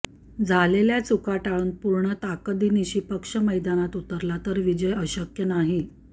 झालेल्या चुका टाळून पूर्ण ताकदीनिशी पक्ष मैदानात उतरला तर विजय अशक्य नाही